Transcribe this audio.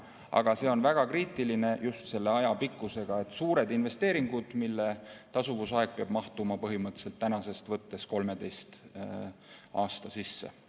Aga see on väga kriitiline just selle aja pikkuse tõttu, sest suurte investeeringute tasuvusaeg peab mahtuma põhimõtteliselt tänasest lugedes 13 aasta sisse.